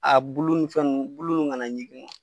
A bulu ni fɛn nunnu buluw ka na ɲikin.